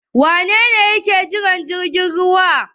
Wane ne yake jiran jirgin ruwa?